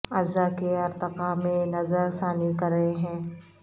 اعضاء کے ارتقاء میں نظر ثانی کر رہے ہیں